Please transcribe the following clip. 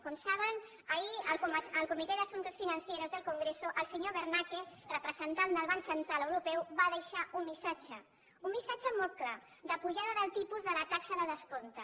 com saben ahir en el comité de asuntos financieros del congreso el senyor bernaque representant del banc central europeu va deixar un missatge un missatge molt clar d’apujada del tipus de la taxa de descompte